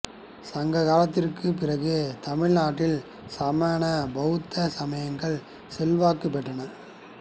சங்க காலத்திற்குப் பிறகு தமிழ்நாட்டில் சமண பௌத்த சமயங்கள் செல்வாக்குப் பெற்றன